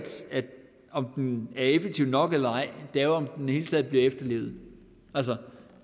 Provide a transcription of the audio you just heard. om den er effektiv nok eller ej det er jo om den i taget bliver efterlevet altså